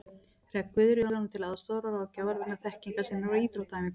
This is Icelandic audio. Hreggviður yrði honum til aðstoðar og ráðgjafar vegna þekkingar sinnar á íþróttaæfingum.